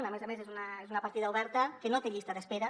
a més a més és una partida oberta que no té llista d’espera